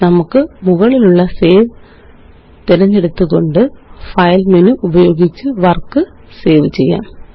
നമുക്ക് മുകളിലുള്ള സേവ് തിരഞ്ഞെടുത്തുകൊണ്ട് ഫൈൽ മെനു ഉപയോഗിച്ച് വര്ക്ക് സേവ് ചെയ്യാം